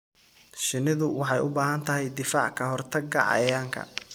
Shinnidu waxay u baahan tahay difaac ka hortagga cayayaanka.